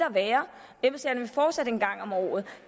fortsat komme en gang om året